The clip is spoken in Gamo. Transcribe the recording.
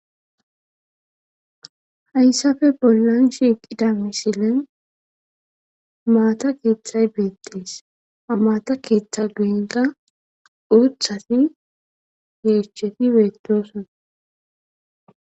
Hayssafe bollan shiiqida misilen maata keeththiray beetees amaata keeththa guenqa uuthati yeesscheti beettosona.